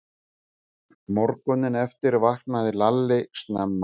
Morguninn eftir vaknaði Lalli snemma.